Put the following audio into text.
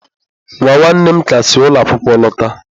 Nwa nwanne m ka si ụlọ akwụkwọ lọta.